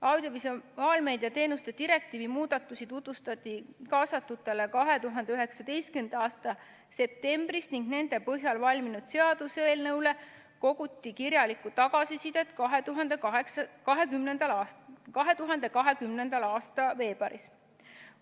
Audiovisuaalmeedia teenuste direktiivi muudatusi tutvustati kaasatutele 2019. aasta septembris ning nende põhjal valminud seaduseelnõu kohta koguti kirjalikku tagasisidet 2020. aasta veebruaris.